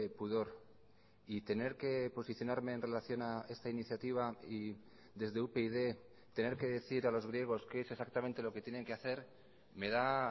pudor y tener que posicionarme en relación a esta iniciativa y desde upyd tener que decir a los griegos qué es exactamente lo que tienen que hacer me da